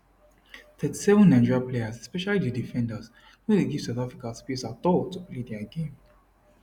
37 nigeria players especially di defenders no dey give south africa space at all to play dia game